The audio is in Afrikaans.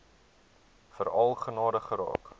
veral gaande geraak